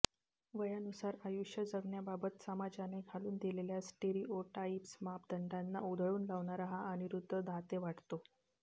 वयानुसार आयुष्य जगण्याबाबत समाजाने घालून दिलेल्या स्टिरिओटाईप्स मापदंडांंना उधळून लावणारा हा अनिरुद्ध दाते वाटतो